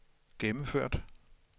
gennemført